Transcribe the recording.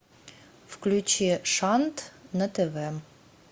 включи шант на тв